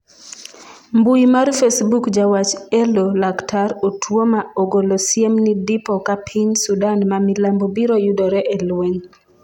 mbui mar facebook jawach elo laktar otuoma ogolo siem ni dipo ka piny Sudan ma milambo biro yudore e lweny